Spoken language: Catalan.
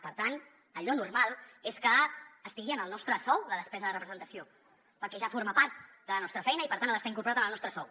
per tant allò normal és que estigui en el nostre sou la despesa de representació perquè ja forma part de la nostra feina i per tant ha d’estar incorporada en el nostre sou